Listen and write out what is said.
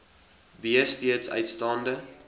b steeds uitstaande